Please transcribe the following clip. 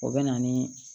O bɛ na ni